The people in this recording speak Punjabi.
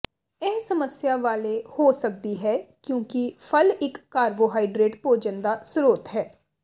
ਇਹ ਸਮੱਸਿਆ ਵਾਲੇ ਹੋ ਸਕਦੀ ਹੈ ਕਿਉਂਕਿ ਫਲ ਇਕ ਕਾਰਬੋਹਾਈਡਰੇਟ ਭੋਜਨ ਦਾ ਸਰੋਤ ਹੈ